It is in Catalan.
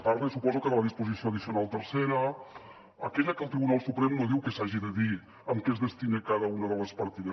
parla suposo de la disposició addicional tercera aquella que el tribunal suprem no diu que s’hagi de dir a què es destina cada una de les partides